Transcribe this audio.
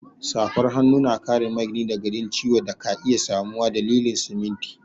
Safar hanu na kare magini daga jin ciwo da ka iya samuwa dalilin siminti.